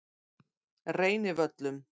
Reynivöllum